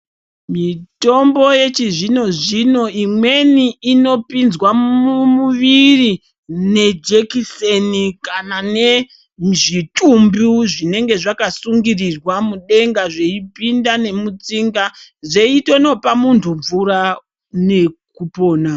Mitombo yechizvino zvino imweni inopinzwa mumuviri nejekiseni kana nemuzvitumbu zvinenge zvakasungirirwa mudenga zveipinda nemutsinga zveitonopa muntu mvura nekupona.